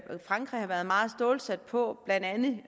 frankrig har været meget stålsat på blandt andet